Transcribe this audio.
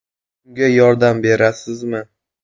Unga yordam berasizmi?